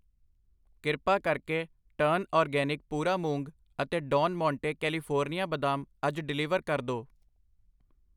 ਕਿਰਪਾ ਕਰਕੇ turn organic ਪੂਰਾ ਮੂੰਗ ਅਤੇ ਡੌਨ ਮੋਂਟੇ ਕੈਲੀਫੋਰਨੀਆ ਬਦਾਮ ਅੱਜ ਡਿਲੀਵਰ ਕਰ ਦੋ ।